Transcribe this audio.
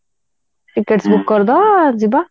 tickets book କରିଦବା ଯିବା ଆଉ